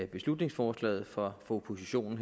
beslutningsforslaget fra oppositionen